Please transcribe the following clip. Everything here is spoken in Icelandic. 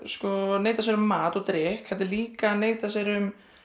neita sér um mat og drykk heldur líka að neita sér um